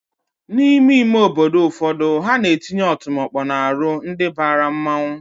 N'ime ime obodo ụfọdụ, ha na-etinye ọtụmọkpọ n'aru ndi bara mmanwụ